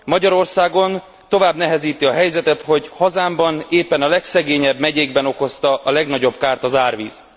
Magyarországon tovább nehezíti a helyzetet, hogy hazámban éppen a legszegényebb megyékben okozta a legnagyobb kárt az árvíz.